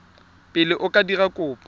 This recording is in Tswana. pele o ka dira kopo